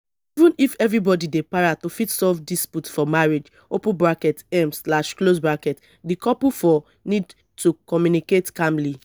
even if everybody dey para to fit solve dispute for marriage um di couple fo need to commmunicate calmly